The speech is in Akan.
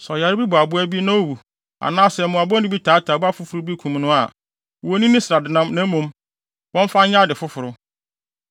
Sɛ ɔyare bi bɔ aboa bi na owu anaasɛ mmoa bɔne bi taataa aboa foforo bi kum no a, wonnni ne srade na mmom, wɔmfa nyɛ ade foforo.